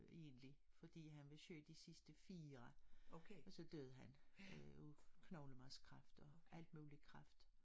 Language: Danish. Egentig fordi han var syg de sidste 4 og så døde han øh af knoglemarvskræft og alt muligt kræft